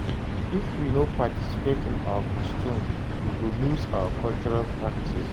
If we no participate in our customs, we go lose our cultural practices.